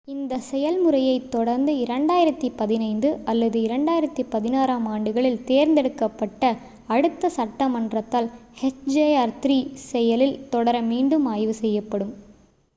இந்த செயல்முறையைத் தொடர்ந்து 2015 அல்லது 2016 ஆம் ஆண்டுகளில் தேர்ந்தெடுக்கப்பட்ட அடுத்த சட்டமன்றத்தால் hjr-3 செயலில் தொடர மீண்டும் ஆய்வு செய்யப்படும்